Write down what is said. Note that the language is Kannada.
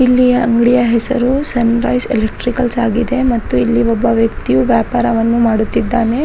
ಇಲ್ಲಿಯ ಅಂಗಡಿಯ ಹೆಸರು ಸನ್ರೈಸ್ ಎಲೆಕ್ಟ್ರಿಕಲ್ಸ್ ಆಗಿದೆ ಮತ್ತು ಇಲ್ಲಿ ಒಬ್ಬ ವ್ಯಕ್ತಿಯು ವ್ಯಾಪಾರವನ್ನು ಮಾಡುತ್ತಿದ್ದಾನೆ.